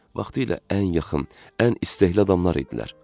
Vaxtilə ən yaxın, ən istəkli adamlar idilər.